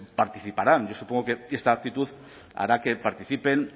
participarán yo supongo que esta actitud hará que participen